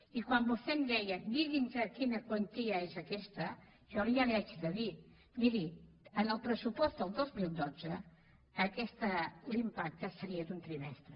i quan vostè em deia digui’ns quina quantia és aquesta jo ara li haig de dir miri en el pressupost del dos mil dotze l’impacte seria d’un trimestre